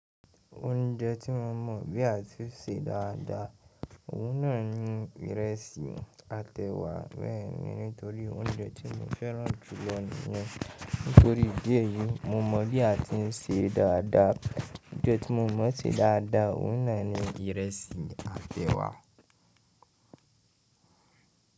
Oúnjẹ tí mo mọ̀ bí a ti ń sè dáadáa òun náà ni ìrẹsì àti ẹ̀wà beeni nítorí oúnjẹ tí mo fẹ́ràn jùlọ nìyẹn. Nítorí bí èyí mo mọ̀ bí a ti ń sè é dáadáa. Oúnjẹ tí mo mọ̀ bí a ti ń sè é dáadáa òun náà ni ìrẹsì àtẹ̀wà.